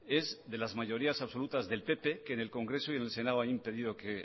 es de las mayorías absolutas del pp que del congreso y en el senado hay un pedido que